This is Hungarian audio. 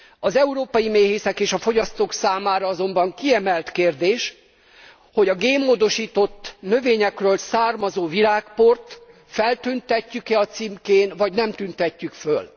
Az európai méhészek és a fogyasztók számára azonban kiemelt kérdés, hogy a génmódosított növényekről származó virágport feltüntetjük e a címkén vagy nem tüntetjük föl.